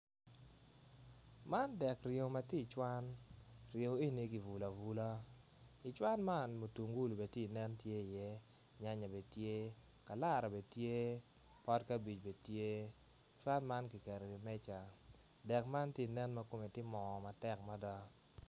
Man dek ringo ma tye icwan ringo eni kibulo abula icwan man mutugulu bene tye inen tye iye nyanya bene tye kalara bene tye pot kabic bene tye cwan man kiketo iwi meja dek man tye inen ma kome tye moo matek mada.